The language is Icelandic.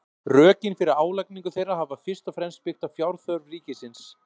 rökin fyrir álagningu þeirra hafa fyrst og fremst byggt á fjárþörf ríkisins